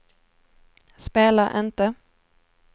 spela inte